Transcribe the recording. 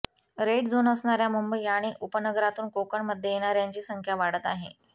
red zone असणाऱ्या मुंबई आणि उपनगरातून कोकणमध्ये येणाऱ्यांची संख्या वाढत आहे